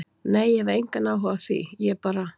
Nei ég hef engann áhuga á því, ég bara.